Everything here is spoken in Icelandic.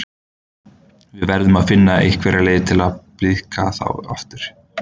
Við verðum að finna einhverja leið til að blíðka þá aftur.